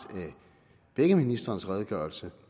af begge ministrenes redegørelse